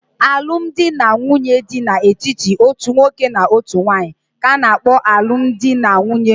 Alụmdi na nwunye dị n'etiti otu nwoke na otu nwanyị ka-ana kpo alụmdi na nwunye mkpuke